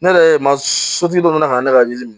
Ne yɛrɛ ye ma sotigi dɔ nana ka ne ka yiri min